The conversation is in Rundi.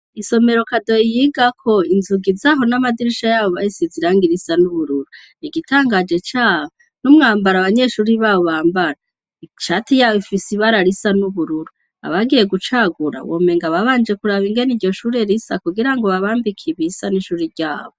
Isomero KADO yigako inzugi zaho n'amadirisha yabo bayasize irangi risa n'ubururu. Igitangaje caho, n'umwambaro abanyeshuri baho bambara, ishati yabo ifise ibara risa n'ubururu. Abagiye gucagura womengo babanje kuraba ingene iryo shure risa kugira babambike ibisa n'ishure ryabo.